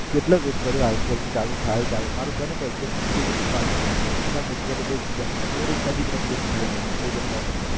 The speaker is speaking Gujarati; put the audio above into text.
કેટલા વિધ કર્યો આઈ પી એલ ચાલુ થાય ચાલુ થાય મારુ ઘર છે ને exact stadium ની બાજુ મા જ છે એકદમ એટલે exact એકદમ જોડે જ નજીક જ છીએ અમે stadium અને અમે બન્ને